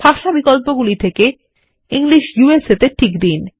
ভাষা বিকল্পগুলি থেকে ইংলিশ ইউএসএ এ টিক দিন